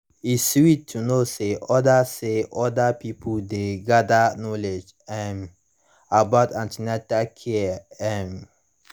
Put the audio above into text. e sweet to know say other say other pipo dey gather knowledge um about an ten atal care um